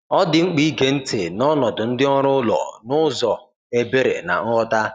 Ọ dị mkpa ige ntị n’ọnọdụ ndị ọrụ ụlọ n’ụzọ ebere na nghọta.